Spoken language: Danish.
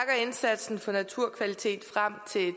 indsatsen for naturkvalitet frem til